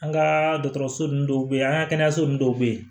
An ka dɔgɔtɔrɔso nunnu dɔw bɛ yen an ka kɛnɛyaso ninnu dɔw bɛ yen